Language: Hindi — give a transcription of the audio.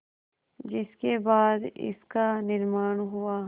जिसके बाद इसका निर्माण हुआ